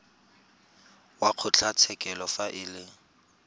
wa kgotlatshekelo fa e le